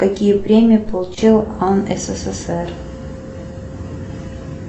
какие премии получил ан ссср